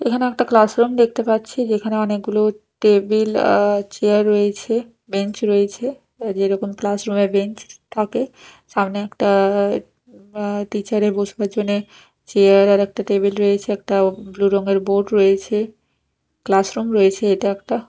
এখানে একটা ক্লাসরুম দেখতে পাচ্ছি যেখানে অনেকগুলো টেবিল অ্যা চেয়ার রয়েছে বেঞ্চ রয়েছে যেরকম ক্লাসরুম -এ বেঞ্চ থাকে সামনে একটা অ্যা টিচার -এর বসবার জন্যে চেয়ার আর একটা টেবিল রয়েছে একটা ব্লু রঙের বোর্ড রয়েছে ক্লাসরুম রয়েছে এটা একটা।